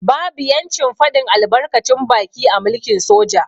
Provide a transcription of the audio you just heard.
Babu yancin fadin albarkacin baki a mulkin soja.